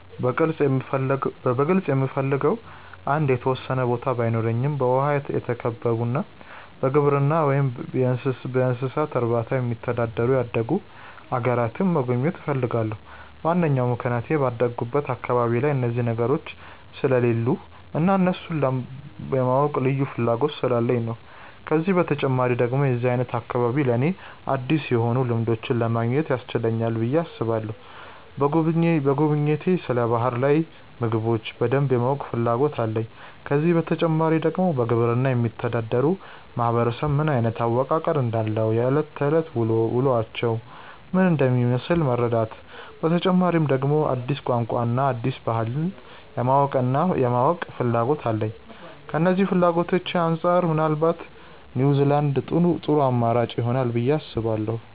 በግልጽ የምፈልገው አንድ የተወሰነ ቦታ ባይኖረም በውሃ የተከበቡና በግብርና ወይም እንስሳት እርባታ የሚተዳደሩ ያደጉ አገራትን መጎብኘት እፈልጋለሁ። ዋናው ምክንያቴ ባደኩበት አካባቢ ላይ እነዚህ ነገሮች ስለሌሉ እና ስለእነሱ የማወቅ ልዩ ፍላጎት ስላለኝ ነው። ከዚህ በተጨማሪ ደግሞ የዚህ አይነት አካባቢ ለኔ አዲስ የሆኑ ልምዶችን ለማግኘት ያስችለናል ብዬ አስባለሁ። በጉብኝቴ ስለ ባህር ላይ ምግቦች በደንብ የማወቅ ፍላጎት አለኝ። ከዚህ በተጨማሪ ደግሞ በግብርና የሚተዳደር ማህበረሰብ ምን አይነት አወቃቀር እንዳለው፣ የእለት ከእለት ውሎአቸው ምን እንደሚመስል መረዳት፤ በተጨማሪ ደግሞ አዲስ ቋንቋን እና አዲስ ባህልን የማወቅና ፍላጎት አለኝ። ከነዚህ ፍላጎቶቼ አንጻር ምናልባት ኒውዝላንድ ጥሩ አማራጭ ይሆናል ብዬ አስባለሁ።